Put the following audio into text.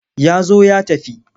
Ya zo ya tafi.